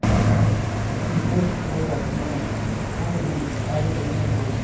और हो जाती है कोई भी आगे देखने से--